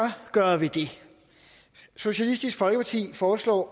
gøre ved det socialistisk folkeparti foreslår